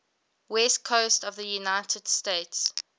west coast of the united states